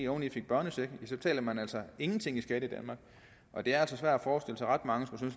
oveni fik børnecheck så betalte man altså ingenting i skat i danmark og det er altså svært at forestille sig ret mange som